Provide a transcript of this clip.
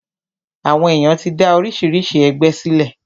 Àwọn èyàn ti dá oríṣiríṣi ẹgbẹ sílẹ̀.